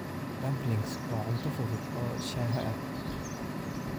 Dumplings waa cunto fudud oo shaaha ah.